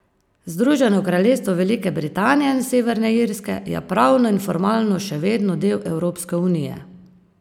Združeno kraljestvo Velike Britanije in Severne Irske je pravno in formalno še vedno del Evropske unije!